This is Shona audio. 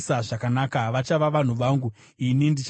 Vachava vanhu vangu, ini ndichava Mwari wavo.